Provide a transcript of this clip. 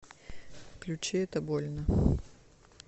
включи это больно